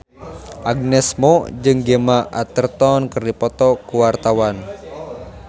Agnes Mo jeung Gemma Arterton keur dipoto ku wartawan